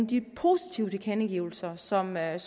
de positive tilkendegivelser som jeg